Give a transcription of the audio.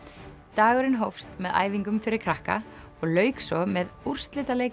dagurinn hófst með æfingum fyrir krakka og lauk svo með úrslitaleik